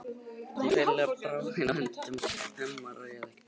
Hún hreinlega bráðnaði í höndunum á Hemma, réð ekki við sjálfa sig.